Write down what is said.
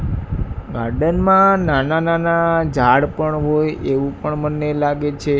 Garden માં નાના નાના ઝાડ પણ હોય એવું પણ મને લાગે છે.